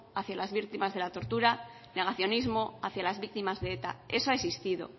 hacia las víctimas de la tortura negacionismo hacia las víctimas de eta eso ha existido